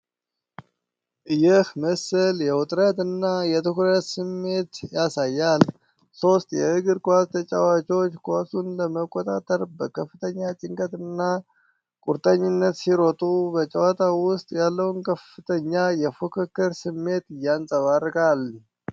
ይህ ምስል የውጥረት እና የትኩረት ስሜት ያሳያል። ሶስቱ የእግር ኳስ ተጫዋቾች ኳሱን ለመቆጣጠር በከፍተኛ ጭንቀትና ቁርጠኝነት ሲሮጡ፣ በጨዋታው ውስጥ ያለውን ከፍተኛ የፉክክር ስሜት ያንጸባርቃል።